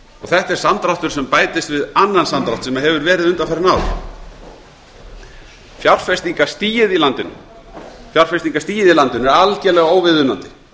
þetta er samdráttur sem bætist við annan samdrátt sem hefur verið undanfarin ár fjárfestingarstigið í landinu er algerlega óviðunandi